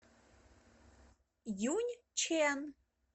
юньчэн